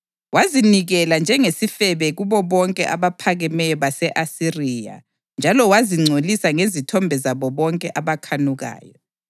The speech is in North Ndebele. Wazinikela njengesifebe kubo bonke abaphakemeyo base-Asiriya njalo wazingcolisa ngezithombe zabo bonke abakhanukayo.